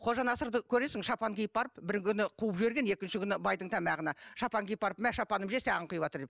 қожанасырды көресің шапан киіп барып бір күні қуып жіберген екінші күні байдың тамағына шапан киіп барып мә шапаным же саған кұйыпватыр деп